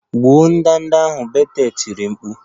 Gbuo ndanda ahụ! Betel tiri mkpu